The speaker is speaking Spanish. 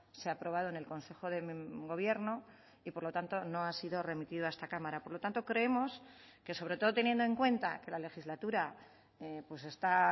se ha aprobado en el consejo de gobierno y por lo tanto no ha sido remitido a esta cámara por lo tanto creemos que sobre todo teniendo en cuenta que la legislatura está